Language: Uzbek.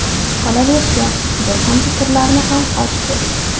Qolaversa, bir qancha sirlarini ham ochdi.